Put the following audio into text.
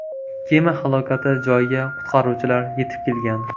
Kema halokati joyiga qutqaruvchilar yetib kelgan.